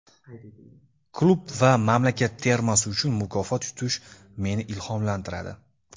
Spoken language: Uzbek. Klub va mamlakat termasi uchun mukofot yutish meni ilhomlantiradi.